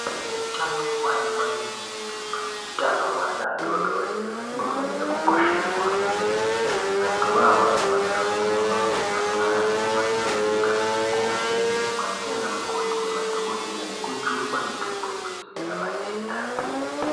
Utano hwanamai anemimba neutano hweana adoodori hunofanire kukosheswa kwemene. Anthuwo anofanira kurumba kuzvipatara nekumakirinika koovhenekwa ndiana mukoti nemadhogodheya nekujungwa mitombo yekudzivirira matenda.